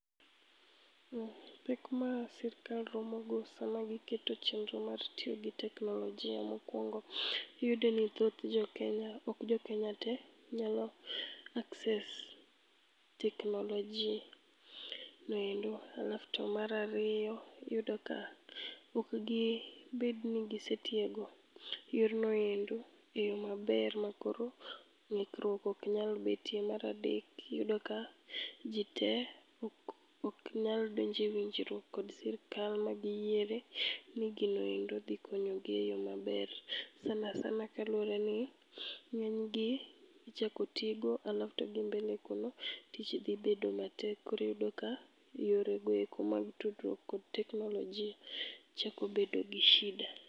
Pek ma sirkal romogo sama giketo chendro mar tiyo gi teknolojia mokwongo. Iyudo ni thoth jo Kenya, ok jo Kenya te, nyalo access technology noendo. Alafu to mar ariyo, iyudo ka okgibedni gisetiego yornoendo e yo maber ma koro ng'ikruok oknyal betie. Maradek, iyudo ka ji te ok nyal donje winjruok kod sirkal magiyiere ni ginoendo dhi konyogi e yo maber. Sana sana kaluwore ni ng'enygi ichako tigo alafu to gi mbele kuno, tich dhi bedo matek. Koriyudo ka yoregoeko mag tudruok kod technology chako bedo gi shida.